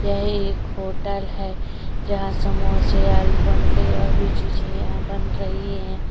ये के होटल है जहाँ समोसे आलुबंड़े और भी चीजे यहाँ बन रही है।